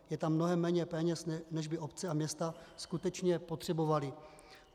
Je tam mnohem méně peněz, než by obce a města skutečně potřebovaly.